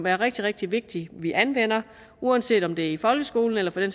er rigtig rigtig vigtigt at vi anvender uanset om det er i folkeskolen eller for den